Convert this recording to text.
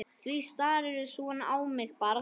Því starirðu svona á mig barn?